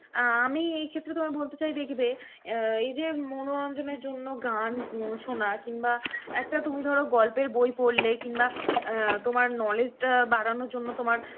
আ~ আমি এই ক্ষেত্রে তোমায় বলতে চাই দেখবে অ্যাঁ এই যে মনোরঞ্জনের জন্য গান উম শোনা কিংবা একটা তুমি ধরো গল্পের বই পড়লে কিংবা অ্যাঁ তোমার knowledge টা বারানোর জন্য তোমার